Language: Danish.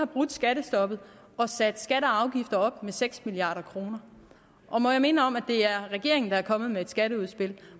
brudt skattestoppet og sat skatter og afgifter op med seks milliard kroner må jeg minde om at det er regeringen der er kommet med et skatteudspil